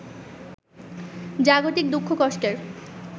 জাগতিক দুঃখ কষ্টের